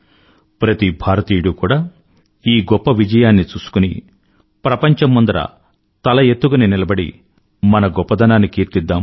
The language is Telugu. ప్రతి భారతీయుడూ కూడా ఈ గొప్ప విజయాన్ని చూసుకుని ప్రపంచం ముందర గర్వంగా నిలబడి తల ఎత్తుకుని నిలబడి మన గొప్పదనాన్ని కీర్తిద్దాం